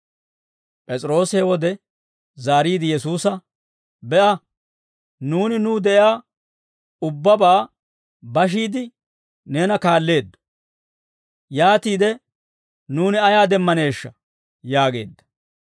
P'es'iroosi he wode zaariide Yesuusa, «Be'a, nuuni nuw de'iyaa ubbabaa bashiide, neena kaalleeddo; yaatiide nuuni ayaa demmaneeshsha?» yaageedda.